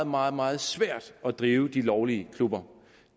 meget meget svært at drive de lovlige klubber